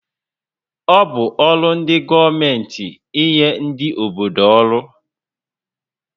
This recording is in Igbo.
Ọ bụ ọrụ ndị gọọmenti ínyé ndị obodo ọrụ